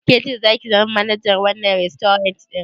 Ke ce zaki zama manajar wannan rastorant ɗin?